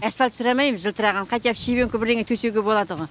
асфальт сұрамаймыз жылтыраған хотя бы щебенка бірдеңе төсеуге болады ғой